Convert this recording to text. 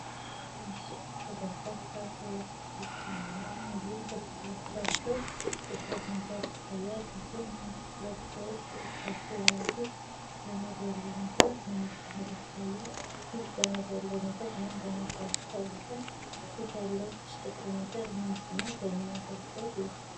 በምስሉ ላይ በርካታ ሰዎች ይገኛሉ እንዲሁም ከፊት ለፊታቸው ጥቁር ነገር ይታያል። እንዲሁም ሁለት ሰዎች በእጃቸው የያዙት ገመድ ያለው ነገር ምን እንደሆን ይታያል። ገመድ ያለው ነገር ምን በመባል ይታወቃል? ከፊትስ ያለው ጥቁሩ ነገር ምንድነው? ለምን አገልግሎት ይውላል?